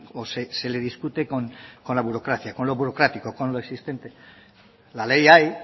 o se le discute con la burocracia con lo burocrático con lo existente la ley hay